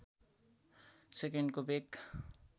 सेकन्डको वेग